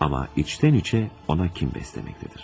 Ama içten içe ona kin beslemektedir.